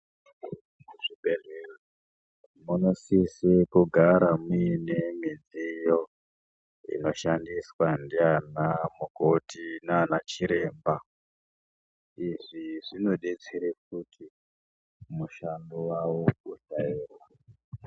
Mu zvibhedhlera vano sisa kugara muine midziyo ino shandiswa ndi ana makoti nana chiremba izvi zvino detsere kuti mushando yavo usa rema.